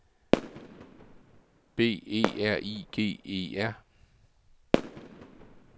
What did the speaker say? B E R I G E R